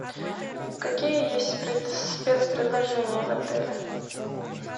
какие есть спецпредложения в отеле